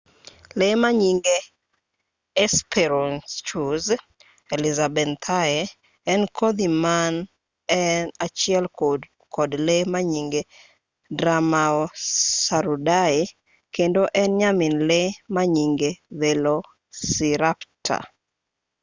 lee manyinge hesperonychus elizabethae en kodhi man e achiel kod lee manyinge dromaeosauridae kendo en nyamin lee manyinge velociraptor